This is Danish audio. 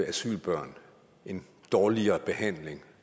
asylbørn en dårligere behandling